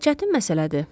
Çətin məsələdir.